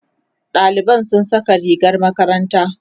ɗaliban sun Saka rigar makaranta